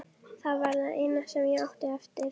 Það var það eina sem ég átti eftir.